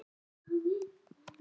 Nú skulum við plotta.